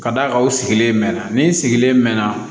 Ka d'a kan u sigilen mɛ na ni sigilen mɛ na